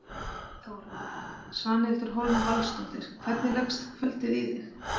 Þóra: Svanhildur Hólm Valsdóttir, hvernig leggst kvöldið í þig?